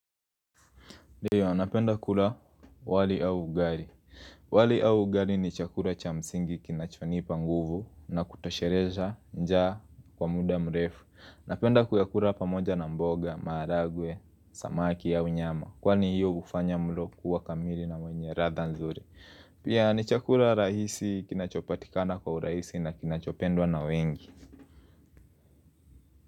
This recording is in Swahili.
Ndiyo napenda kula wali au ugali. Wali au ugali ni chakula cha msingi kinachonipa nguvu na kutosheleza njaa kwa muda mrefu. Napenda kuyakula pamoja na mboga, maharagwe, samaki au nyama. Kwani hiyo hufanya mlo kuwa kamili na wenye ladha nzuri. Pia ni chakula rahisi kinachopatikana kwa urahisi na kinachopendwa na wengi.